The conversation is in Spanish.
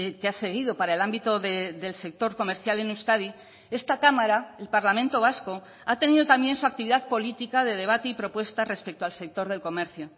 que ha seguido para el ámbito del sector comercial en euskadi esta cámara el parlamento vasco ha tenido también su actividad política de debate y propuesta respecto al sector del comercio